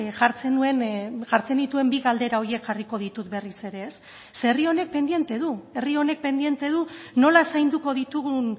jartzen nituen bi galdera horiek jarriko ditut berriz ere ze herri honek pendiente du herri honek pendiente du nola zainduko ditugun